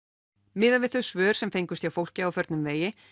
miðað við þau svör sem fengust hjá fólki á förnum vegi